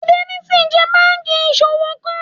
Fidelity jẹ́ banki ìṣowó kan.